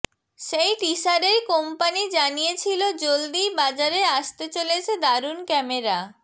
সেই টিসারেই কোম্পানি জানিয়েছিলো জলদিই বাজারে আসতে চলেছে দারুন ক্যামেরা